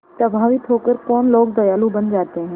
प्रभावित होकर कौन लोग दयालु बन जाते हैं